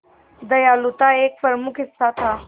दयालुता एक प्रमुख हिस्सा था